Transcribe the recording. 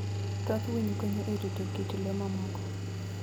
Thoth winy konyo e rito kit le mamoko.